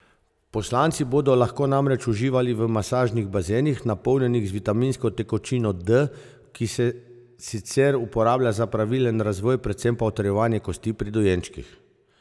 Poslanci bodo lahko namreč uživali v masažnih bazenih, napolnjenih z vitaminsko tekočino D, ki se sicer uporablja za pravilen razvoj, predvsem pa utrjevanje kosti pri dojenčkih.